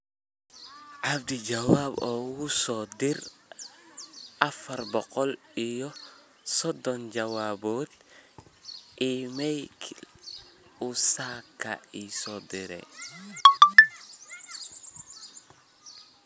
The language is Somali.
abdi jawaab ugu soo dir afar boqol iyo soddon jawaabood iimaylkii uu saaka ii soo diray